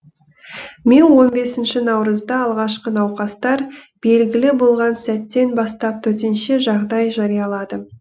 мен он бесінші наурызда алғашқы науқастар белгілі болған сәттен бастап төтенше жағдай жарияладым